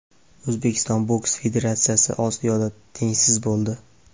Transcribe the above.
O‘zbekiston boks federatsiyasi Osiyoda tengsiz bo‘ldi.